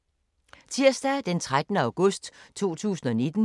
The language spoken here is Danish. Tirsdag d. 13. august 2019